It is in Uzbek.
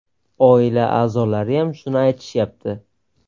Oila a’zolariyam shuni aytishyapti.